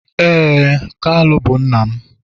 ee, kalu bu nna m.